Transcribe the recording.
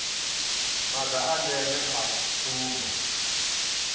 maga a ndeme a tsumbo